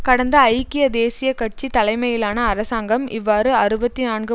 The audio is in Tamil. கடந்த ஐக்கிய தேசிய கட்சி தலைமையிலான அரசாங்கம் இவ்வாறு அறுபத்தி நான்கு